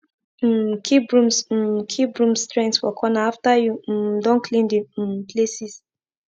um keep brooms um keep brooms strength for corner after you um don clean de um places